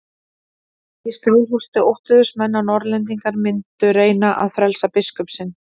Í Skálholti óttuðust menn að Norðlendingar mundu reyna að frelsa biskup sinn.